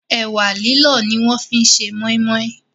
Ẹ̀wà lílọ̀ ni wọ́n fi ṣe Mọ́í mọ́í